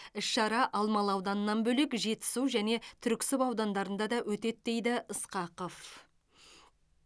іс шара алмалы ауданынан бөлек жетісу және түрксіб аудандарында да өтеді дейді ысқақов